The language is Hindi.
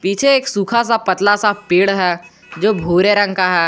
पीछे एक सुखा सा पतला सा पेड़ है जो भूरे रंग का है।